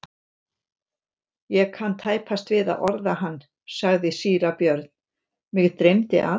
Ég kann tæpast við að orða hann, sagði síra Björn,-mig dreymdi að.